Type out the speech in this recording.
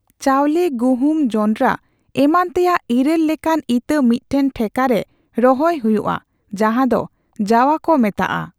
ᱪᱟᱣᱞᱮ, ᱜᱩᱦᱩᱢ, ᱡᱚᱱᱰᱨᱟ ᱮᱢᱟᱱ ᱛᱮᱭᱟᱜ ᱤᱨᱟᱹᱞ ᱞᱮᱠᱟᱱ ᱤᱛᱟᱹ ᱢᱤᱫᱴᱮᱱ ᱴᱷᱮᱠᱟ ᱨᱮ ᱨᱚᱦᱚᱭ ᱦᱩᱭᱩᱜᱼᱟ ᱡᱟᱦᱟᱸ ᱫᱚ ᱡᱟᱳᱣᱟ ᱠᱚ ᱢᱮᱛᱟᱜᱼᱟ ᱾